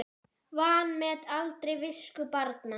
Vanmet aldrei visku barna.